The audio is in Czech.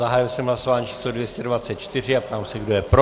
Zahájil jsem hlasování číslo 224 a ptám se, kdo je pro.